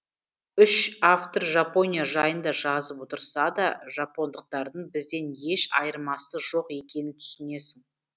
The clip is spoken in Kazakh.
үш автор жапония жайында жазып отырса да жапондықтардың бізден еш айырмасы жоқ екенін түсінесің